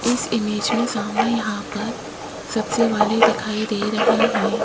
इस इमेज में सामने यहां पर सब्जी वाले दिखाई दे रहे हैं।